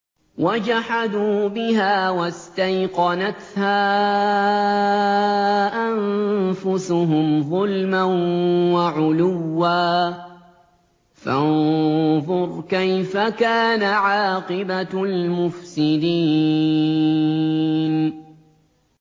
وَجَحَدُوا بِهَا وَاسْتَيْقَنَتْهَا أَنفُسُهُمْ ظُلْمًا وَعُلُوًّا ۚ فَانظُرْ كَيْفَ كَانَ عَاقِبَةُ الْمُفْسِدِينَ